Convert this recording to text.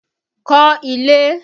Kọ́ ilé!